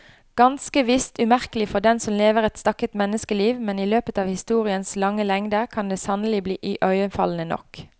Ganske visst umerkelig for den som lever et stakket menneskeliv, men i løpet av historiens lange lengder kan det sannelig bli iøynefallende nok.